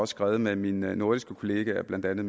skrevet med mine nordiske kollegaer blandt andet